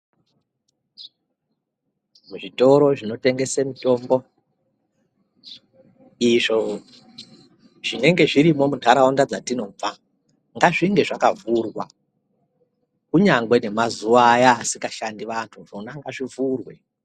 Muzvitoro zvinotengese mitombo izvo zvinenge zvirimwo munharaunda dzatinobva ngazvinge zvakavhurwa. Kunyangwe nemazuva aya asikashandi vantu zvona ngazvivhurwe.